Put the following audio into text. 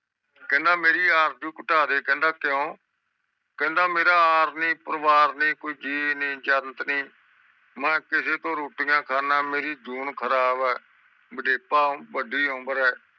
ਕਹਿੰਦਾ ਮਵੇਰੀ ਆਰਜੂ ਘਟਾ ਦੇ ਕਹਿੰਦਾ ਕਿਊਯ ਕਹਿੰਦਾ ਮੇਰਾ ਰਰ ਨੀ ਪੋਰੀਵਾਰ ਨੀ ਕੋਈ ਗ ਨੀ ਜੰਤ ਨੀ ਮੈਂ ਕਿਸੇ ਤੋਂ ਰੋਟੀਆਂ ਖੰਡਾ ਮੇਰੀ ਜੂਨ ਖਰਾਬ ਆ ਵੇਜਾਪ ਵੱਡੀ ਉਮਰ ਆ